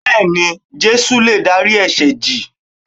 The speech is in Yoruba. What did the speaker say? Bẹ́ẹ̀ni, Jésù lè dárí ẹ̀sẹ̀ jì